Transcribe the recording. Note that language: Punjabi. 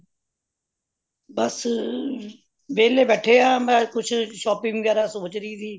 ਬੱਸ ਵੇਹਲੇ ਬੈਠੇ ਆ ਮੈਂ ਕੁਛ shopping ਵਗੈਰਾ ਸੋਚ ਰਹੀ ਸੀ